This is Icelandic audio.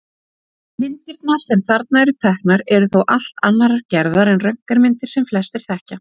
Myndirnar sem þarna eru teknar eru þó allt annarrar gerðar en röntgenmyndir sem flestir þekkja.